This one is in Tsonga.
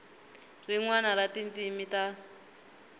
rin wana ra tindzimi ta